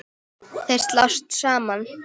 Þeir slást saman.